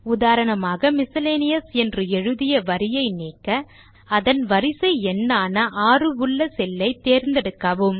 உதாரணமாக மிஸ்செலேனியஸ் என்று எழுதிய வரியை நீக்க அதன் வரிசை எண்ணான 6 உள்ள செல்லை தேர்ந்தெடுக்கவும்